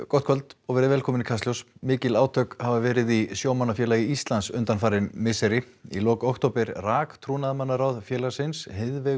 gott kvöld og velkomin í Kastljós mikil átök hafa verið í Sjómannafélagi Íslands undanfarin misseri í lok október rak trúnaðarmannaráð félagsins